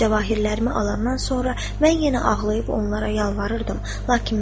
Cəvahirlərimi alandan sonra mən yenə ağlayıb onlara yalvarırdım, lakin məni buraxmadılar.